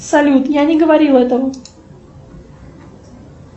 салют я не говорила этого